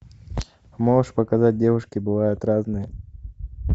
можешь показать девушки бывают разные